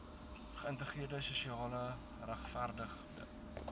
geïntegreerde sosiaal regverdige